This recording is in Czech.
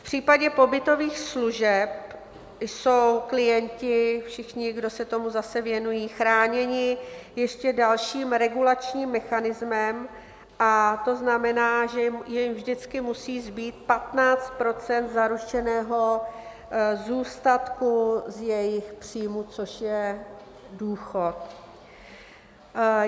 V případě pobytových služeb jsou klienti, všichni, kdo se tomu zase věnují, chráněni ještě dalším regulačním mechanismem, a to znamená, že jim vždycky musí zbýt 15 % zaručeného zůstatku z jejich příjmu, což je důchod.